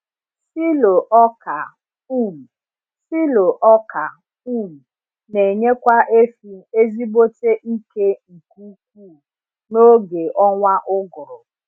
Silo ọka um Silo ọka um n’enyekwa efi ezigbote ike nke ukwu na oge ọnwa ụgụrụ